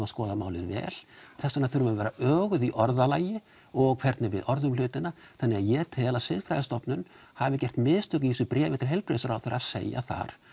að skoða málið vel þess vegna þurfum við að vera öguð í orðalagi og hvernig við orðum hlutina þannig að ég tel að Siðfræðisstofnun hafi gert mistök í þessu bréfi til heilbrigðisráðherra að segja þar